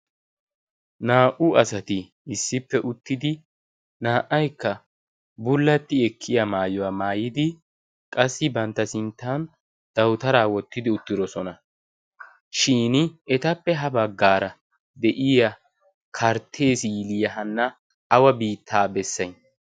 naa''u asati issippe uttidi naa''aykka bullatti ekkiya maayuwaa maayidi qassi bantta sinttan dawutaraa wottidi uttirosona shin etappe ha baggaara de'iya karttee siiliyahanna awa biittaa bessay